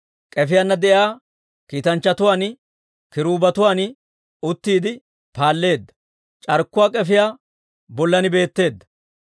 K'efiyaana de'iyaa kiitanchchatuwaan, kiruubetuwaan uttiide paalleedda; c'arkkuwaa k'efiyaa bollan beetteedda.